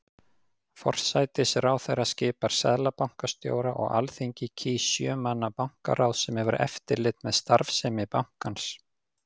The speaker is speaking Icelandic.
Forsætisráðherra skipar seðlabankastjóra og Alþingi kýs sjö manna bankaráð sem hefur eftirlit með starfsemi bankans.